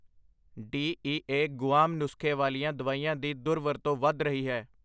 D E A Guam ਨੁਸਖ਼ੇ ਵਾਲੀਆਂ ਦਵਾਈਆਂ ਦੀ ਦੁਰਵਰਤੋਂ ਵੱਧ ਰਹੀ ਹੈ